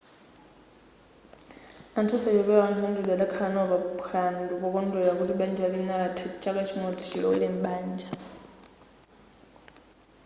anthu osachepera 100 adakhala nawo pa phwando pokondwelera kuti banja lina latha chaka chimodzi chilowere m'banja